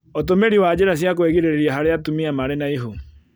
Ũtumĩri wa njĩra cia kũĩgirĩrĩria harĩ atumia marĩ na ihu